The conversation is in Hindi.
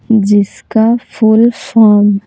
जिसका फुल फॉर्म --